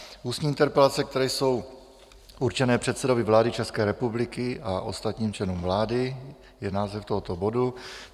Ústní interpelace, které jsou určené předsedovi vlády České republiky a ostatním členům vlády, je název tohoto bodu.